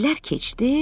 İllər keçdi,